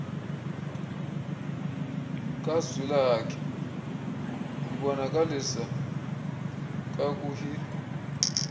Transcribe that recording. kazwilakhe ibonakalisa kakuhie